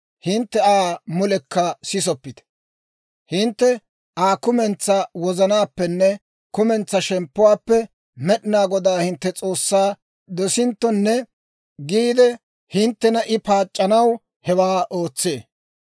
hintte Aa mulekka sisoppite. Hintte Aa kumentsaa wozanaappenne kumentsaa shemppuwaappe Med'inaa Godaa hintte S'oossaa dosinttonne giide, hinttena I paac'c'anaw hewaa ootsee.